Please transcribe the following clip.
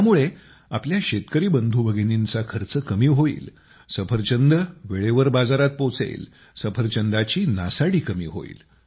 यामुळे आपल्या शेतकरी बंधूभगिनींचा खर्च कमी होईल सफरचंद वेळेवर बाजारात पोहचेल सफरचंदाची नासाडी कमी होईल